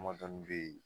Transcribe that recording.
Damadɔni bɛ yen